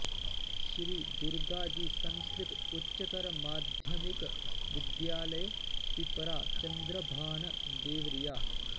श्री दुर्गाजी संस्कृत उच्चतर माध्यमिक विद्यालय पिपरा चन्द्रभान देवरिया